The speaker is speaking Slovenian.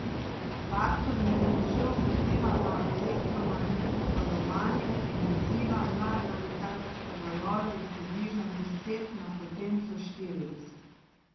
Faktor med močjo odziva snovi na elektromagnetno valovanje in odziva na gravitacijske valove je približno deset na potenco štirideset.